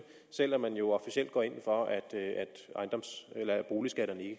selv om man jo officielt går ind for at boligskatterne ikke